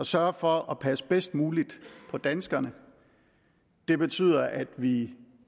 sørge for at passe bedst muligt på danskerne det betyder at vi